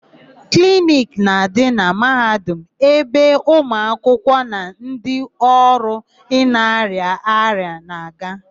Kliniki na-adị na Mahadum ebe ụmụakwụkwọ na ndị ọrụ na-arịa ọrịa na-aga.